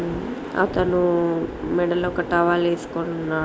హ్మ్మ్ అతను మేడలో ఒక టవల్ ఏసుకొని ఉన్న--